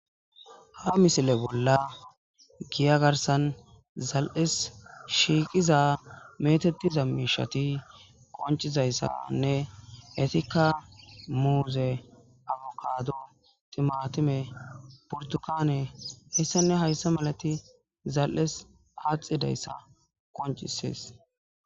Ha missile bolla giyya garsan zale's shiqiza methethiza mishathi qoncisizayssanne ethikka muzze, affukado, thimathime burtukanne hayssanne heyssa malatha zale's adhidayssa qoncisses.